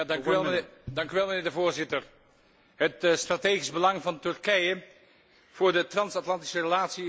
Voorzitter, het strategisch belang van Turkije voor de trans Atlantische relatie is evident.